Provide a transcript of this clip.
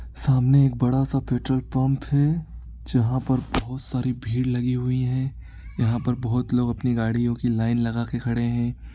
सामने एक बड़ा सा पेट्रोल पंप है जहाँ पर बहोत सारी भीड़ लगी हुई है। यहाँ पर बोहोत लोग अपनी गाड़ियों की लाइन लगाके खड़े हैं।